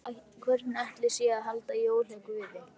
Hvernig ætli sé að halda jól hjá Guði?